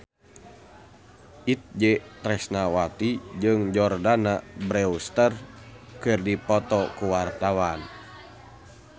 Itje Tresnawati jeung Jordana Brewster keur dipoto ku wartawan